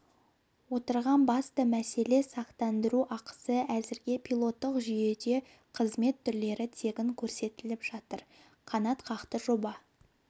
отырған басты мәселе сақтандыру ақысы әзірге пилоттық жүйеде қызмет түрлері тегін көрсетіліп жатыр қанатқақты жоба